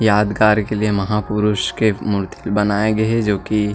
यादगार के लिए महापुरुष के मूर्ति ल बनाए गए हे जो की--